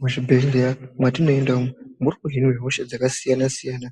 Muzvibhedhleya mwatinoenda umwu muri kuhinwa hosha dzakasiyana-siyana